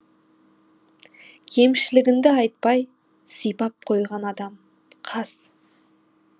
кемшілігіңді айтпай сипап қойған адам қас